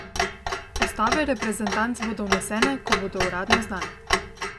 Postave reprezentanc bodo vnesene, ko bodo uradno znane.